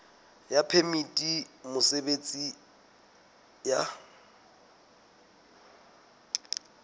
ya phemiti ya mosebetsi ya